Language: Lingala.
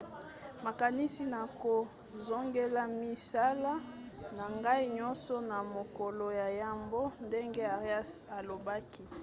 nakanisi nakozongela misala na ngai nyonso na mokolo ya yambo, ndenge arias alobaki